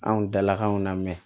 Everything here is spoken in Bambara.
Anw dalakanw na